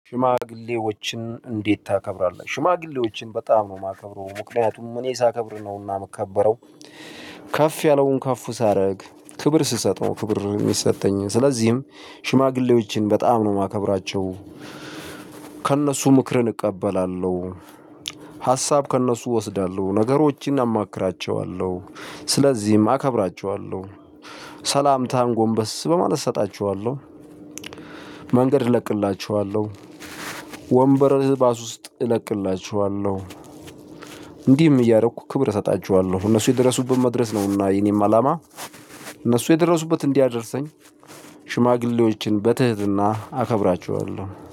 ሽማግሌዎችን እንዴት ታከብራለህ? ሽማግሌዎችን በጣም ነው ማከብረው ምክንያቱም እኔ ሳከብር ነው እና ምከበረው ከፍ ያለውን ከፍ ሳረግ ክብር ሲሰጠው ክብርን ሚሰጠኝን ስለዚህም ሽማግሌዎችን በጣም ነው ማከብራቸው። ከእነሱ ምክርን እቀበላለው። ሀሳብ ከእነሱ እወስዳለው ነገሮችን አማክራችዋለው ስለዚም አከብራችዋለው። ሰላምታን ጎንበስ በማለት እሰጣችዋለው። መንገድ እለቅላችዋለው። ወንበር ባስ ውስጥ እለቅላችዋለው። እንዲህም እያረኩ ክብር እሰጣችዋለው እነሱ የደረሱበት መድረስ ነው እና የኔም አላማ። እነሱ የደረሱበት እንዲያደርሰኝ ሽማግሌዎችን በትህትና አከብራችዋለው